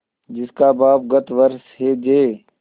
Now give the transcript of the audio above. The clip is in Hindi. जिसका बाप गत वर्ष हैजे